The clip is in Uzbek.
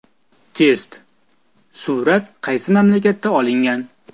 Test: Surat qaysi mamlakatda olingan?.